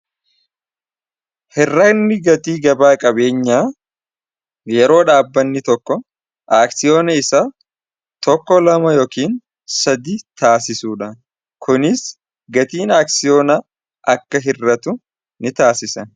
hirranni gatii gabaa qabeenya yeroo dhaabbanni tokko aaksiyoona isa tokko 2ama yokn sadi taasisudha kunis gatiin aaksiyoona akka hirratu ni taasise